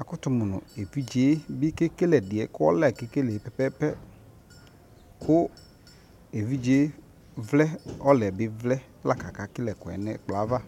akoto mo no evidze bi ke kele ɛdiɛ ko ɔla ke kele pɛpɛpɛ ko evidze vlɛ ɔla yɛ bi vlɛ la ko aka sɛ kele ɛsɛ no ɛkplɔ ava